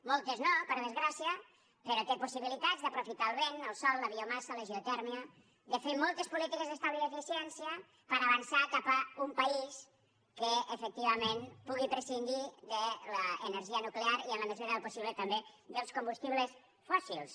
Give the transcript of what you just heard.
moltes no per desgràcia però té possibilitats d’aprofitar el vent el sol la biomassa la geotèrmia de fer moltes polítiques d’estalvi i d’eficiència per avançar cap a un país que efectivament pugui prescindir de l’energia nuclear i en la mesura del possible també dels combustibles fòssils